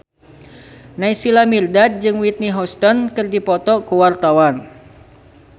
Naysila Mirdad jeung Whitney Houston keur dipoto ku wartawan